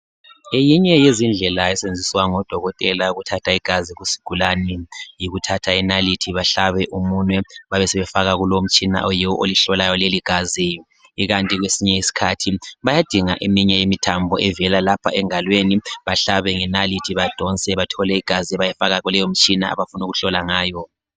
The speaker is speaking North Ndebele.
ngeyinye yezindlela esetshenziswa ngo dokotela ukuthatha igazi kusigulane yikuthatha inalithi bahlabe umunwe basebefaka kulo umtshina oyiwo olihlolayo leligazi ikanti kwesinye isikhathi bayadinga eminye imithambo evela lapha engalweni bahlabe ngenalithi badonse bathole igazi bayefaka kuleyo mitshina abafuna ukuhlola ngayo